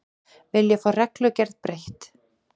Vilja fá reglugerð breytt